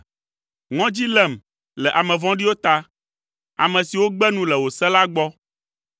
Ŋɔdzi lém le ame vɔ̃ɖiwo ta, ame siwo gbe nu le wò se la gbɔ.